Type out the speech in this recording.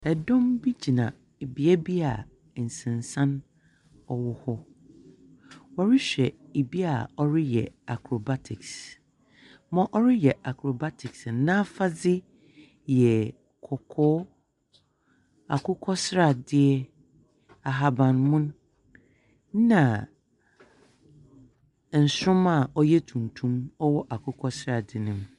Dɔm bi gyina bea bi a nsensan wɔ hɔ, wɔrehwɛ obi a ɔreyɛ acrobatics, ma ɔreyɛ acrobatics no, n’afade yɛ kɔkɔɔ, akokɔsradeɛ, ahabanmon na nsroma a ɔɛ tuntum wɔ akokɔsradeɛ ne mu.